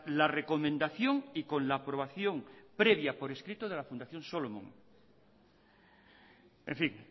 la recomendación y con la aprobación previa por escrito de la fundación solomon en fin